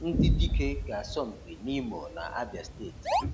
Ndị dike ga-asọ mpi n'Imo na Abia steeti